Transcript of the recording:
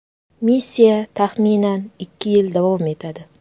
Missiya, taxminan, ikki yil davom etadi.